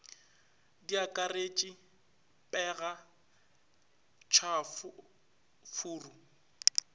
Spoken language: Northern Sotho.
di akaretše pega tšhafo furu